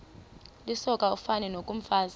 lisoka ufani nokomfazi